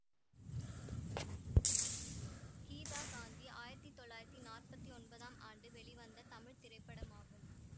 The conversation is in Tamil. கீதா காந்தி ஆயிரத்தி தொள்ளாயிரத்தி நாற்பத்தி ஒன்பதாம் ஆண்டு வெளிவந்த தமிழ் திரைப்படமாகும்